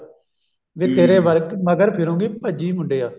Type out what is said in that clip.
ਵੀ ਤੇਰੇ ਮਗਰ ਫਿਰੁਗੀ ਭੱਜੀ ਮੁੰਡਿਆ